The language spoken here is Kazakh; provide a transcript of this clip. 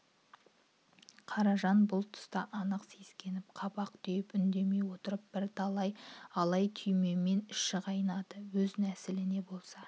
қаражан бұл түста анық сескеніп қабақ түйіп үндемей отыр бірталай алай-түлеймен іші қайнайды өз нәсіліне болса